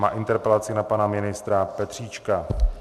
Má interpelaci na pana ministra Petříčka.